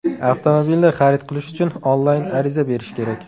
Avtomobilni xarid qilish uchun onlayn ariza berish kerak.